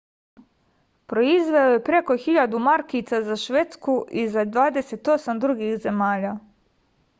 proizveo je preko 1000 markica za švedsku i za 28 drugih zemalja